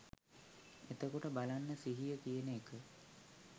එතකොට බලන්න සිහිය කියන එක